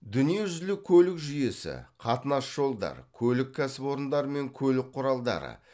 дүние жүзілік көлік жүйесі қатынас жолдар көлік кәсіпорындарымен көлік құралдары